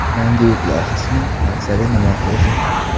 Mangu.uz loyihasining maqsadi nima o‘zi?